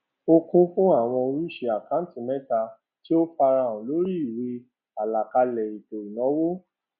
ó kún fún awọn oríṣi àkántì mẹta tí ó farahàn lórí ìwé àlàkalẹ ètò ìnáwó